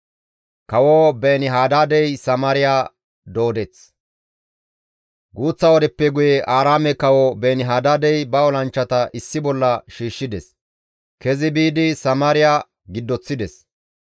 Guuththa wodeppe guye Aaraame kawo Beeni-Hadaadey ba olanchchata issi bolla shiishshides; kezi biidi Samaariya giddoththides.